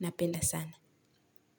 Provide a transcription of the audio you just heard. Napenda sana.